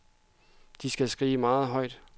De skal skrige meget højt.